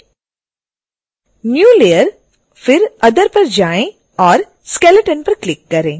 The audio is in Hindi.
new layer फिर other पर जाएं और skeleton पर क्लिक करें